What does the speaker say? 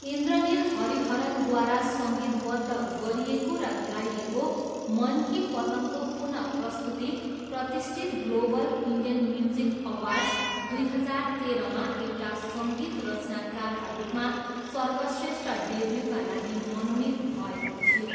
इन्द्रनील हरिहरनद्वारा सङ्गीतबद्ध गरिएको र गाइएको मन की पतङ्गको पुनःप्रस्तुति प्रतिष्ठित ग्लोबल इन्डियन म्युजिक अवार्ड्स, दुई हजार तेह्रमा एउटा सङ्गीत रचनाकारका रूपमा सर्वश्रेष्ठ डेब्युका लागि मनोनीत भएको थियो।